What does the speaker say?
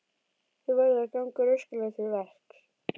Þú verður að ganga rösklega til verks.